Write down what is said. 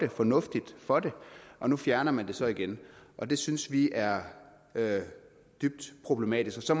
og fornuftigt for det og nu fjerner man det så igen og det synes vi er dybt problematisk så